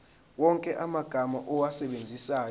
wonke amagama owasebenzisayo